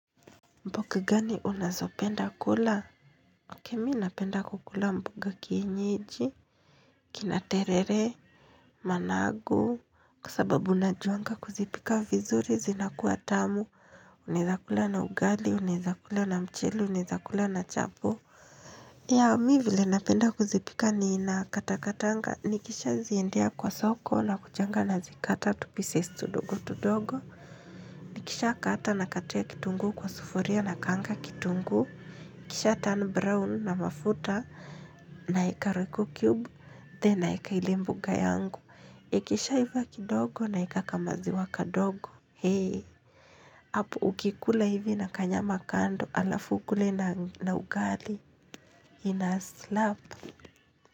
Mboga gani unazopenda kula? Mimi napenda kukula mboga kienyeji. Kina terere, managu kwa sababu najuanga kuzipika vizuri zinakuwa tamu. Naeza kula na ugali, naeza kula na mchele, naeza kula na chapo. Ya mi vile napenda kuzipika ni ninakata katanga. Nikisha ziendea kwa soko nakujanga nazikata tu pieces tudogo tudogo. Nikishakata nakatia kitunguu kwa sufuria nakaanga kitunguu. Ikisha turn brown na mafuta naeka rocyo cube, then naeka ile mboga yangu. Ikishaiva kidogo naeka ka maziwa kadogo. Hapo ukikula hivi na kanyama kando alafu ukule na ugali inaslap.